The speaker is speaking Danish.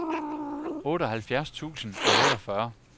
otteoghalvfjerds tusind og otteogfyrre